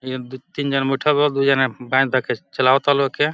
ए दू तीन जना बैठल बा दुइ जना बाए देख के चलावता लोग एके।